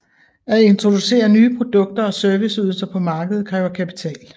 At introducere nye produkter og serviceydelser på markedet kræver kapital